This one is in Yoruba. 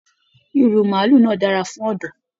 Ìrù maálù náà dára fún ọdọ́.